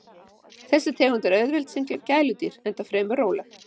Þessi tegund er auðveld sem gæludýr enda fremur róleg.